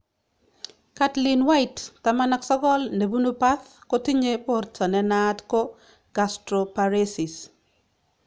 Caitlin White,19, nebunu perth, kotinye borto ne naat ko gastroparesis